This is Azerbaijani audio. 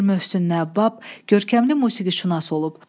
Mir Mövsüm Nəvvab görkəmli musiqişünas olub.